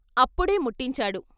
అప్పుడే ముట్టించాడు....